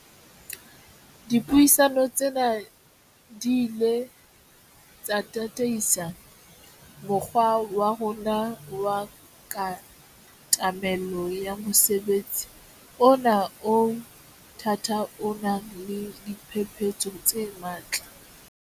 Dipuisano tsena di ile tsa tataisa mokgwa wa rona wa katamelo ya mosebetsi ona o o thata o nang le diphephetso tse matla.